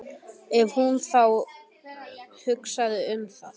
Ef hún þá hugsaði um það.